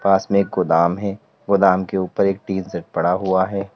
पास में एक गोदाम है। गोदाम के ऊपर एक टीन सेट पड़ा हुआ है।